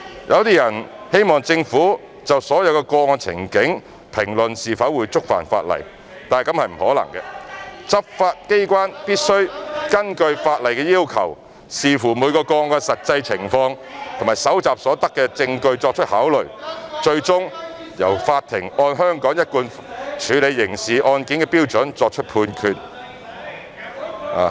有些人希望政府就所有個案情境，評論是否會觸犯法例，這是不可能的，執法機關必須根據法例的要求，視乎每宗個案的實際情況及搜集所得的證據作考慮，最終由法庭按香港一貫處理刑事案件的標準作出判決。